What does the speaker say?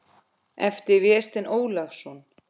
eftir Véstein Ólason.